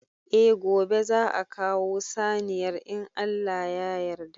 Eh gobe za'a kawo saniyar in Allah ya yarda.